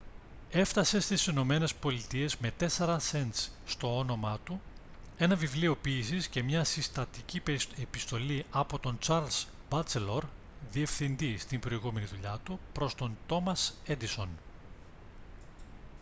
έφτασε στις ηνωμένες πολιτείες με 4 σεντς στο όνομά του ένα βιβλίο ποίησης και μια συστατική επιστολή από τον τσαρλς μπάτσελορ διευθυντή στην προηγούμενη δουλειά του προς τον τόμας έντισον